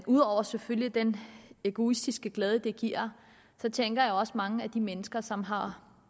ud over selvfølgelig den egoistiske glæde det giver tænker jeg også på mange af de mennesker som har